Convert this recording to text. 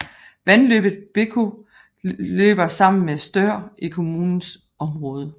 Vandløbet Bekau løber sammen med Stör i kommunens område